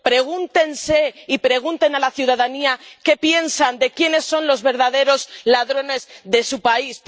Pregúntense y pregunten a la ciudadanía quiénes piensan que son los verdaderos ladrones de su país.